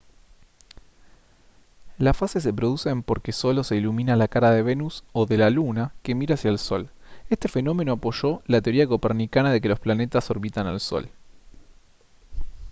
las fases se producen porque solo se ilumina la cara de venus o de la luna que mira hacia el sol. este fenómeno apoyó la teoría copernicana de que los planetas orbitan al sol